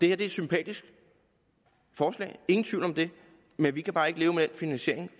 er et sympatisk forslag ingen tvivl om det men vi kan bare ikke leve med den finansiering